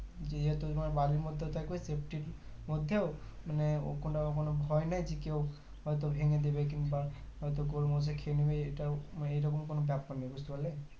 যেহুতু তোমার বাড়ির মধ্যে থাকবে safety ইর মধ্যেও মানে ও কোনো ভয় নেই যে কেও হয়তো ভেঙে দেবে কিংবা হয়তো গরু মহিষে খেয়ে নিবে এইটা এইরকম কোনো ব্যাপার নেই বুজতে পারলে